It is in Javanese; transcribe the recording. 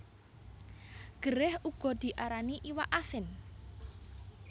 Gerèh uga diarani iwak asin